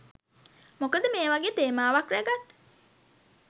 මොකද මේ වගේ තේමාවක් ‍රැගත්